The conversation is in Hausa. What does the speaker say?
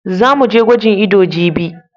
Za mu je gwajin ido jibi.